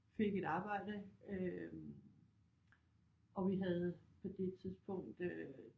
Fik et arbejde og vi havde på det tidspunkt øh